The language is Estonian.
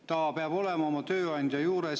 Ta peab olema oma tööandja juures.